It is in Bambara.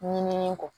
Ɲinini kɔ